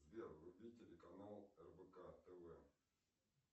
сбер вруби телеканал рбк тв